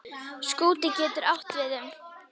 Skúti getur átt við um